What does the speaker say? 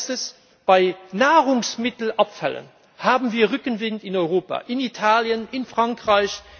Ein Letztes Bei Nahrungsmittelabfällen haben wir Rückenwind in Europa, in Italien, in Frankreich.